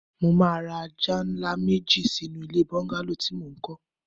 Mo máa ra ajá ńlá méjì sínú ilé bọ́ńgálò tí mo ń kọ́